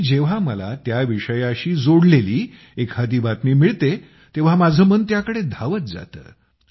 आणि जेव्हा मला त्या विषयाशी एखादी जोडलेली बातमी मिळते तेव्हा माझं मन त्याकडे धावत जातं